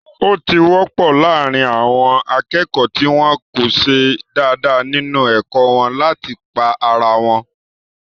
Ó ti wọ́pọ̀ láàrín àwọn akẹ́kọ̀ọ́ tí wọ́n ko ṣe dáadáa nínu ẹ̀kọ́ wọn láti pá ara wọn